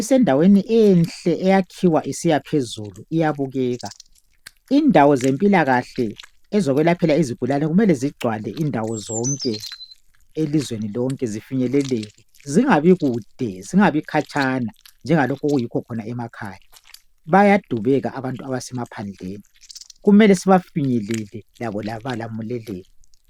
Isendaweni enhle, eyakhiwa isiyaphezulu, iyabukeka. Indawo zempilakahle ezokwelaphela izigulane mele zigcwale indawo zonke elizweni lonke. Zifinyeleleke, zingabi kude, zingabi khatshana njengalokhu okuyikho khona emakhaya. Bayadubeka abantu abasemaphandleni, kumele sibafinyelele labo balamuleleke.